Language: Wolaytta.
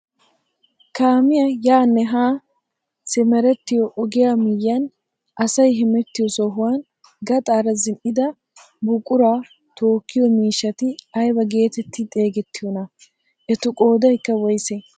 Kaamiyaa yaanne haa simerettiyoo ogiyaa miyiyaan asay hemettiyoo sohuwaan gaxaara zin"ida buquraa tookkiyoo miishshati aybaa getetti xeegettiyoonaa? etu qoodaykka woysee?